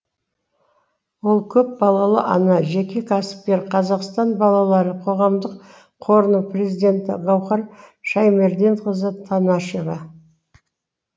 ол көп балалы ана жеке кәсіпкер қазақстан балалары қоғамдық қорының президенті гаухар шаи мерденқызы танашева